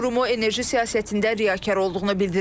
O qurumu enerji siyasətində riyakar olduğunu bildirib.